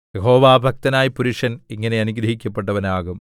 യഹോവാഭക്തനായ പുരുഷൻ ഇങ്ങനെ അനുഗ്രഹിക്കപ്പെട്ടവനാകും